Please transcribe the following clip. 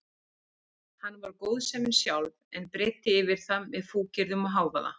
Hann var góðsemin sjálf en breiddi yfir það með fúkyrðum og hávaða.